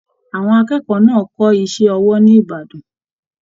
Àwọn akẹ́kọ̀ọ́ náà kọ iṣẹ ọwọ ní Ìbàdàn